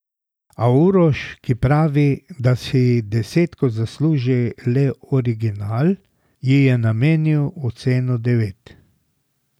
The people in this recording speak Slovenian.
A Uroš, ki pravi, da si desetko zasluži le original, ji je namenil oceno devet.